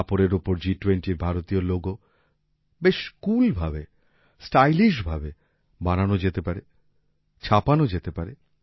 কাপড়ের ওপর G20র ভারতীয় লোগো বেশ কুল ভাবে স্টাইলিশ ভাবে বানানো যেতে পারে ছাপানো যেতে পারে